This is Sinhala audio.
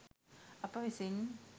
අප විසින්